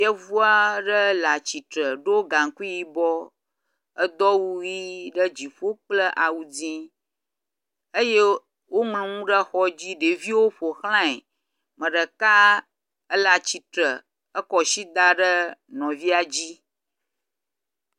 Yevu aɖe le atistre ɖo gaŋkui yibɔ edo awu ʋi ɖe dziƒo kple awu dzi eye woŋlɔ nu ɖe xɔ dzi. Ɖeviwo ƒoxlae. Ame ɖeka ele atsitre ekɔ asi da ɖe nɔvia dzi.